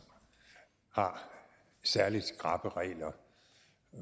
har særlig skrappe regler